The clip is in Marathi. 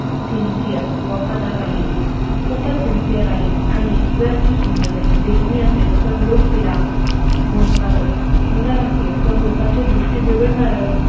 sincere वफादार राहील, खूपच sincere राहील आणि जर ती सुंदर देखणी असेल तर लोक तिला भोगतातच, सुंदर असेल तर लोकांची द्रीष्टी बिघडणारच